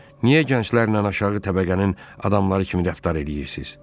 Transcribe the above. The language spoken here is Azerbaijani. Niyə gənclərlə aşağı təbəqənin adamları kimi rəftar eləyirsiz?